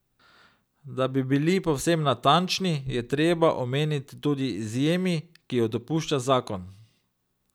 Da bi bili povsem natančni, je treba omeniti tudi izjemi, ki ju dopušča zakon.